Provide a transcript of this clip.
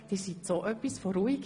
Sie sind dermassen ruhig!